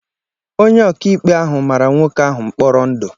Onye ọka ikpe ahụ mara nwoke ahụ mkpọrọ ndụ